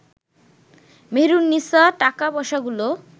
মেহেরুননিসা টাকা পয়সাগুলো